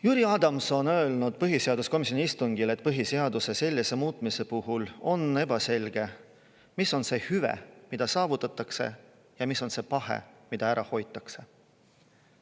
Jüri Adams on öelnud põhiseaduskomisjoni istungil, et põhiseaduse sellise muutmise puhul on ebaselge, mis on see hüve, mida saavutatakse, ja mis on see pahe, mida ära hoitakse.